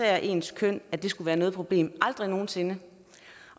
af ens køn skulle være noget problem aldrig nogen sinde